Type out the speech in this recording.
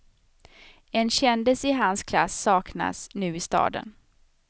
En kändis i hans klass saknas nu i staden.